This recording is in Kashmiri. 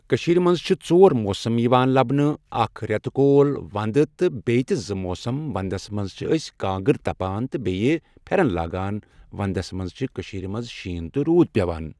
کٔشیٖر منٛز چھِ ژور موسم یِوان لبنہٕ اکھ رٮ۪تہٕ کول ونٛدٕ تہٕ بیٚیہِ تہِ زٕ موسم ونٛدس منٛز چھِ أسۍ کانٛگٕر تپان تہٕ بیٚیہ پھٮ۪رن لاگان ونٛدس منٛز چھ کٔشیٖرِ منٛز شیٖن تہٕ روٗد پٮ۪وان